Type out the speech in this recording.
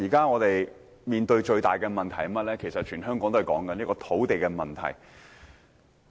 我們目前面對最大的問題，便是困擾全港市民的土地問題。